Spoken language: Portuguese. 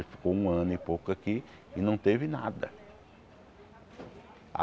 Ele ficou um ano e pouco aqui e não teve nada.